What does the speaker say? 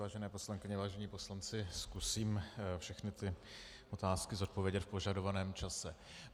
Vážené poslankyně, vážení poslanci, zkusím všechny ty otázky zodpovědět v požadovaném čase.